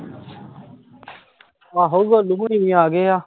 ਆਹੋ ਗੋਲੂ ਹੁਣੀ ਵੀ ਆ ਗਏ ਆ